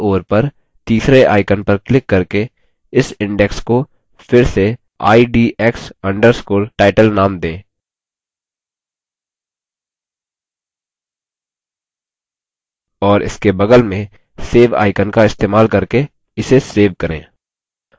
और बायीं ओर पर तीसरे icon पर क्लिक करके इस index को फिर से idx _ title नाम दें और इसके बगल में save icon का इस्तेमाल करके इसे सेव करें